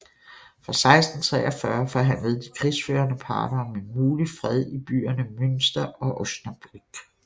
Fra 1643 forhandlede de krigsførende parter om en mulig fred i byerne Münster og Osnabrück